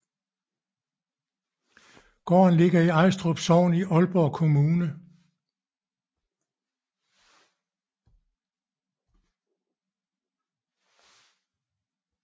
Gården ligger i Ajstrup Sogn i Aalborg Kommune